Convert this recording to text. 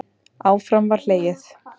Áfram var hlegið.